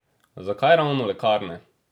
Zakaj ravno lekarne?